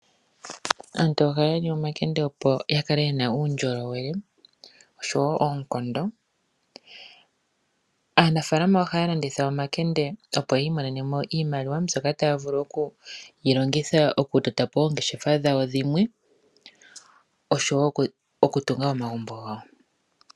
Aantu ohaya li omakende opo ya kale yena uundjolowele oshowo oonkondo. Aanafalama ohaya landitha omakende opo ya imonene mo iimaliwa, mbyoka taya vulu oku yi longitha okutota po oongeshefa dhawo dhimwe oshowo okutunga omagumbo gawo.